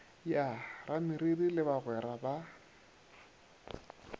ya rameriri le bagwera ba